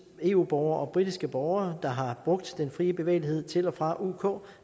eu borgere og britiske borgere der har brugt den fri bevægelighed til og fra uk uk